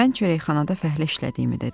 Mən çörəkxanada fəhlə işlədiyimi dedim.